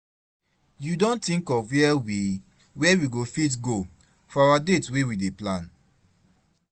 You don think of where we where we go fit go for our date wey we dey plan?